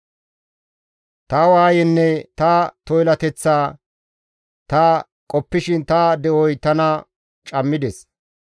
Ta waayenne ta toylateththaa ta qoppishin ta de7oy tana cammides.